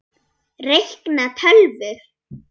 Reikna- tölvur